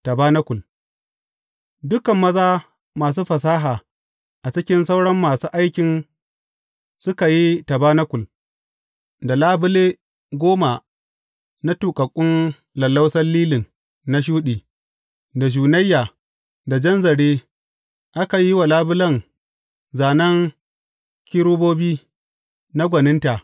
Tabanakul Dukan maza masu fasaha a cikin sauran masu aikin suka yi tabanakul da labule goma na tuƙaƙƙun lallausan lilin na shuɗi, da shunayya, da jan zare, aka yi wa labulen zānen kerubobi na gwaninta.